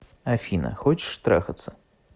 афина хочешь трахаться